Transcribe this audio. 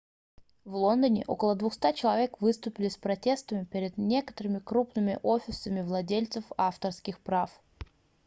в лондоне около 200 человек выступили с протестами перед некоторыми крупными офисами владельцев авторских прав